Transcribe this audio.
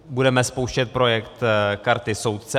Budeme spouštět projekt karty soudce.